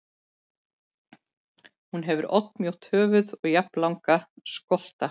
Hún hefur oddmjótt höfuð og jafnlanga skolta.